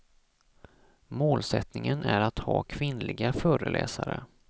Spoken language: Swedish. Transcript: Målsättningen är att ha kvinnliga föreläsare.